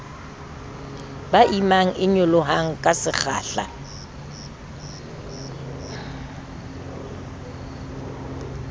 ba imang e nyolohang kasekgahla